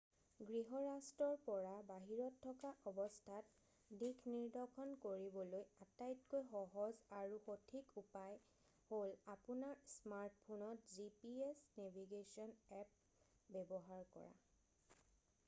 গৃহ ৰাষ্ট্ৰৰ পৰা বাহিৰত থকা অৱস্থাত দিশনিদৰ্শন কৰিবলৈ আটাইতকৈ সহজ আৰু সঠিক উপায় হ'ল আপোনাৰ স্মাৰ্ট ফোনত gps নেভিগেশ্বন এপ্প ব্যৱহাৰ কৰা